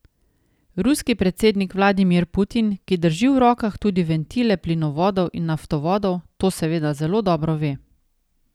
Ruski predsednik Vladimir Putin, ki drži v rokah tudi ventile plinovodov in naftovodov, to seveda zelo dobro ve.